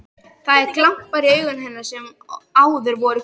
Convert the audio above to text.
Það eru glampar í augum hennar sem áður voru gul.